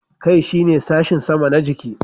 Kai shine sashin sama na jiki.